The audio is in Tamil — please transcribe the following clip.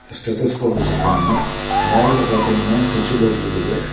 ஸ்டெத்தஸ்கோப் வச்சுருக்காங்க வால்ல பாதிங்கனா சுட்சுபோர்டு இருக்கு.